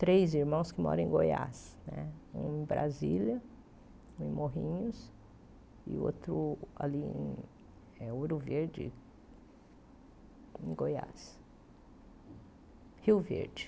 três irmãos que moram em Goiás né, um em Brasília, em Morrinhos, e outro ali em eh Ouro Verde, em Goiás, Rio Verde.